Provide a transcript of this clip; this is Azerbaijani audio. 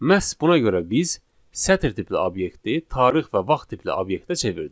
Məhz buna görə biz sətr tipli obyekti tarix və vaxt tipli obyektə çevirdik.